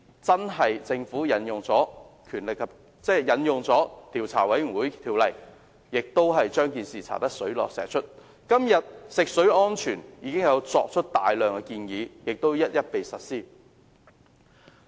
結果，政府確實引用了《調查委員會條例》將鉛水事件查個水落石出，時至今日，有關食水安全的大量建議已經一一實施。